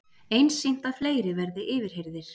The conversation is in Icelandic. Einsýnt að fleiri verði yfirheyrðir